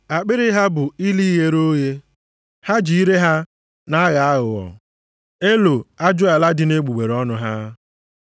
Akpịrị ha bụ ili ghere oghe, ha ji ire ha na-aghọ aghụghọ. + 3:13 \+xt Abụ 5:9\+xt* Elo ajụala dị nʼegbugbere ọnụ ha. + 3:13 \+xt Abụ 140:3\+xt*